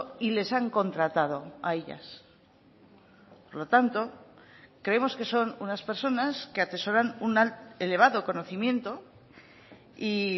y les han contratado a ellas por lo tanto creemos que son unas personas que atesoran un elevado conocimiento y